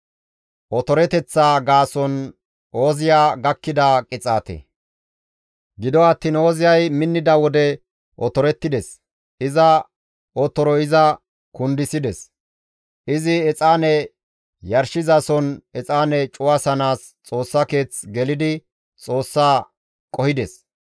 Gido attiin Ooziyay minnida wode otorettides; iza otoroy iza kundisides; izi exaane yarshizason exaane cuwasanaas Xoossa keeth gelidi Xoossa qohides.